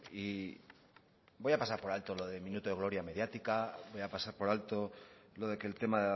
y voy a pasar por alto lo de minuto de gloria mediática voy a pasar por alto lo de que el tema